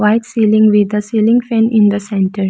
white ceiling with the ceiling fan in the centre.